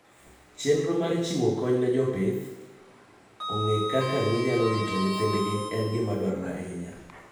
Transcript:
Chenro mar chiwo kony ne jopith ong'e kaka ginyalo rito nyithindgi en gima dwarore ahinya.